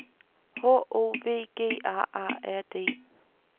H O V G A A R D